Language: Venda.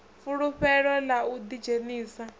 fulufhelo ḽa u ḓi dzhenisa